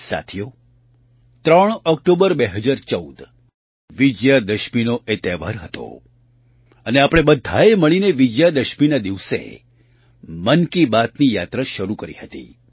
સાથીઓ 3 ઑક્ટોબર 2014 વિજયાદશમીનો તે તહેવાર હતો અને આપણે બધાંએ મળીને વિજયાદશમીના દિવસે મન કી બાતની યાત્રા શરૂ કરી હતી